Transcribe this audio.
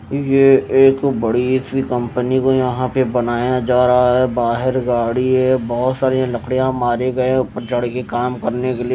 ये एक बड़ी सी कंपनी को यहां पे बनाया जा रहा है बाहेर गाड़ी है बहोत सारी लकड़ियां मारे गए ऊपर चढ़ के काम करने के लिए--